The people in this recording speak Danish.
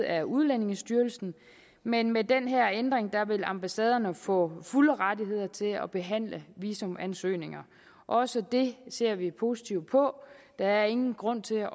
af udlændingestyrelsen men med den her ændring vil ambassaderne få fulde rettigheder til at behandle visumansøgninger også det ser vi positivt på der er ingen grund til at